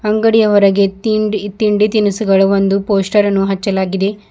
ಅಂಗಡಿಯ ಹೊರಗೆ ತಿಂಡಿ ತಿಂಡಿ ತಿನಿಸುಗಳು ಒಂದು ಪೋಸ್ಟರ್ ಅನ್ನು ಹಚ್ಚಲಾಗಿದೆ.